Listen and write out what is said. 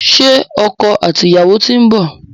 Ṣé ọkọ àti ìyàwó ti ń bọ̀?